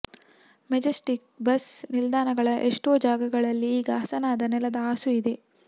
Majestic bus ನಿಲ್ದಾಣಗಳ ಎಷ್ಟೋ ಜಾಗಗಳಲ್ಲಿ ಈಗ ಹಸನಾದ ನೆಲದ ಹಾಸು ಇದೆ